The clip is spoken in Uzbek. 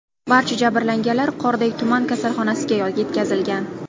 Barcha jabrlanganlar Qorday tuman kasalxonasiga yetkazilgan.